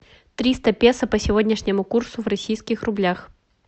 триста песо по сегодняшнему курсу в российских рублях